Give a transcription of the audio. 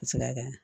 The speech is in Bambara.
Sira kan